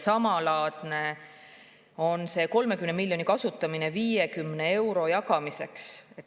Samalaadne on 30 miljoni kasutamine 50 euro jagamiseks.